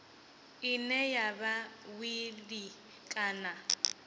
ine ya vha wili kana